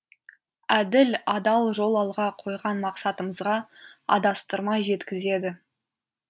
әділ адал жол алға қойған мақсатымызға адастырмай жеткізеді